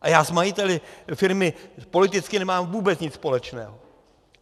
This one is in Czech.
A já s majiteli firmy politicky nemám vůbec nic společného.